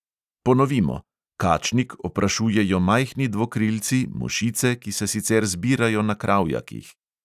Ponovimo: kačnik oprašujejo majhni dvokrilci, mušice, ki se sicer zbirajo na kravjakih.